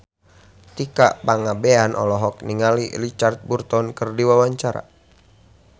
Tika Pangabean olohok ningali Richard Burton keur diwawancara